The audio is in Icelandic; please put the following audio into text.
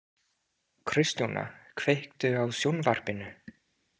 Kristjóna, kveiktu á sjónvarpinu.